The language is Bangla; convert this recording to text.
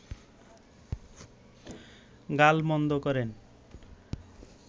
গালমন্দ করেন